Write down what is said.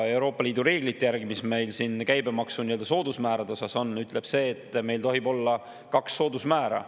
Euroopa Liidu reeglite järgi, mis meil käibemaksu soodusmäärade kohta on, tohib meil olla kaks soodusmäära.